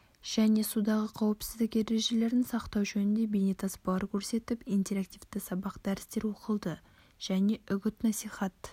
және судағы қауіпсіздік ережелерін сақтау жөнінде бейнетаспалар көрсетіп интерактивті сабақ дәрістер оқылды және үгіт насихат